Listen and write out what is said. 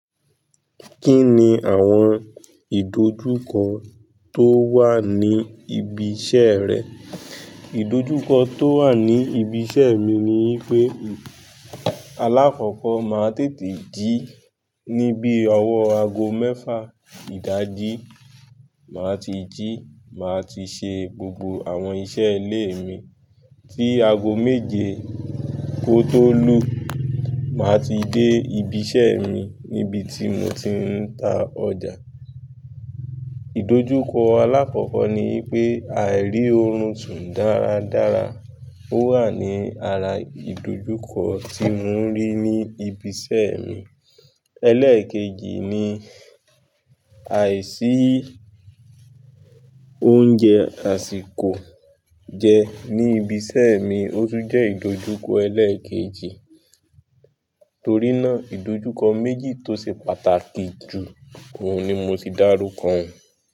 Kínni àwọn ìdojúkọ tó wà ní ibi iṣẹ́ rẹ? Ìdojúkọ tó wà ní ibi iṣẹ́ mi ni i pé, alákọ́kọ́ máa tètè jí ní bí ọwọ́ aago mẹ́fà ìdájí máa ti jí, màá ti ṣe gbogbo àwọn iṣẹ́ ilé mi tí aago méje kó tó lù. Màá ti dé ibi iṣẹ́ mi níbi tí mo ti ń ta ọjà. Ìdojúkọ alákọ́kọ́ ni i pé àìrí orun sún dáradára. Ó wà ní ara ìdojúkọ tí mo ń rí ní ibi iṣẹ́ mi. Élékéjì ni àìsí oúnjẹ àsìkò jẹ ní ibi iṣẹ́ mi, ó tún jẹ́ ìdojúkọ ẹlẹ́ẹ̀kejì. Torí náà ìdojúkọ méjì tó ṣe pàtàkì jù oun ni mo ti dárúkọ un.